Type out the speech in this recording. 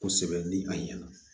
Kosɛbɛ ni a ɲɛna